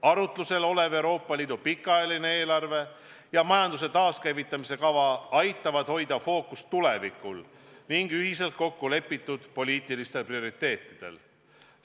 Arutlusel olev Euroopa Liidu pikaajaline eelarve ja majanduse taaskäivitamise kava aitavad hoida fookust tulevikul ning ühiselt kokku lepitud poliitilistel prioriteetidel.